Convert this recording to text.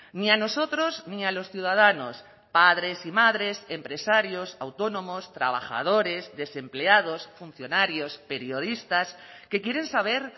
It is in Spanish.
ni a nosotros ni a los ciudadanos padres y madres empresarios autónomos trabajadores desempleados funcionarios periodistas que quieren saber